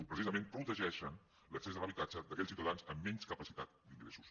precisament protegeixen l’accés a l’habitatge d’aquells ciutadans amb menys capacitat d’ingressos